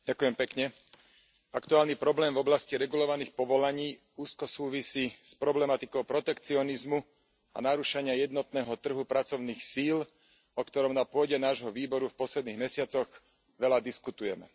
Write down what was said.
Vážená pani predsedajúca, aktuálny problém v oblasti regulovaných povolaní úzko súvisí s problematikou protekcionizmu a narúšania jednotného trhu pracovných síl, o ktorom na pôde nášho výboru v posledných mesiacoch veľa diskutujeme.